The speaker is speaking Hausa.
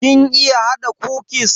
Kin iya hada kukis?